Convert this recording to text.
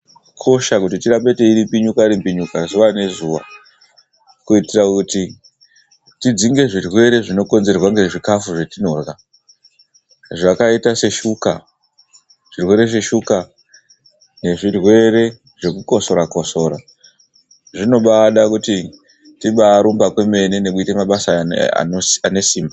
Zvakakosha kuti tirambe teirimbinyuka rimbinyuka zuva nezuva kuitira kuti tidzinge zvirwere zvinokonzerwa ngezvikafu zvatinorya zvakaita seshuka zvirwere zveshuka nezvirwere zvekukosora kosora. Zvinobaada kuti tibaarumba kwemene nekuite mabasa anesimba.